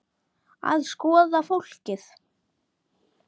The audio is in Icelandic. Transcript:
Að skoða fólkið.